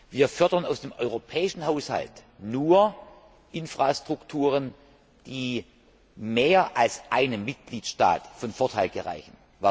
Wir fördern aus dem europäischen Haushalt nur Infrastrukturen, die mehr als einem Mitgliedstaat zum Vorteil gereichen.